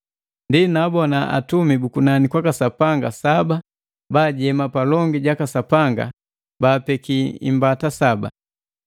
Ndi naabona atumi bu kunani kwaka Sapanga saba baajema palongi jaka Sapanga baapeki imbata saba.